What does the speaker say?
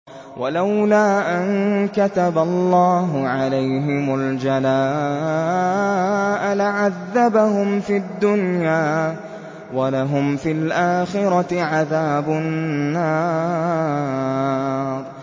وَلَوْلَا أَن كَتَبَ اللَّهُ عَلَيْهِمُ الْجَلَاءَ لَعَذَّبَهُمْ فِي الدُّنْيَا ۖ وَلَهُمْ فِي الْآخِرَةِ عَذَابُ النَّارِ